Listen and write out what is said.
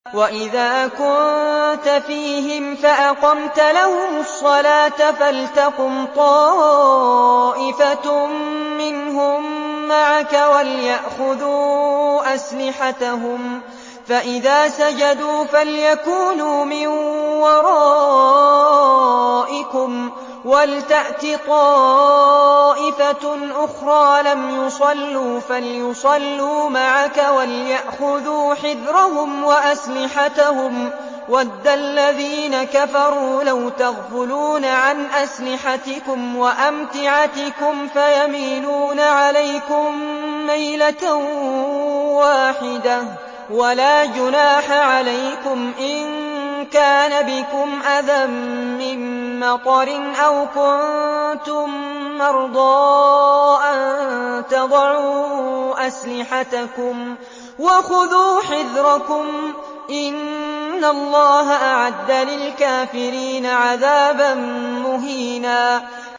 وَإِذَا كُنتَ فِيهِمْ فَأَقَمْتَ لَهُمُ الصَّلَاةَ فَلْتَقُمْ طَائِفَةٌ مِّنْهُم مَّعَكَ وَلْيَأْخُذُوا أَسْلِحَتَهُمْ فَإِذَا سَجَدُوا فَلْيَكُونُوا مِن وَرَائِكُمْ وَلْتَأْتِ طَائِفَةٌ أُخْرَىٰ لَمْ يُصَلُّوا فَلْيُصَلُّوا مَعَكَ وَلْيَأْخُذُوا حِذْرَهُمْ وَأَسْلِحَتَهُمْ ۗ وَدَّ الَّذِينَ كَفَرُوا لَوْ تَغْفُلُونَ عَنْ أَسْلِحَتِكُمْ وَأَمْتِعَتِكُمْ فَيَمِيلُونَ عَلَيْكُم مَّيْلَةً وَاحِدَةً ۚ وَلَا جُنَاحَ عَلَيْكُمْ إِن كَانَ بِكُمْ أَذًى مِّن مَّطَرٍ أَوْ كُنتُم مَّرْضَىٰ أَن تَضَعُوا أَسْلِحَتَكُمْ ۖ وَخُذُوا حِذْرَكُمْ ۗ إِنَّ اللَّهَ أَعَدَّ لِلْكَافِرِينَ عَذَابًا مُّهِينًا